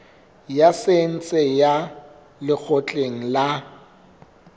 ya saense ya lekgotleng la